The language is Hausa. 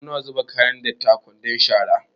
Muna zuba kayan datti a kwandon shara.